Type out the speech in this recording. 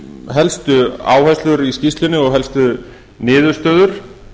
helstu áherslur í skýrslunni og helstu niðurstöður